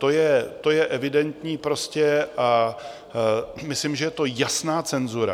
To je evidentní prostě a myslím, že je to jasná cenzura.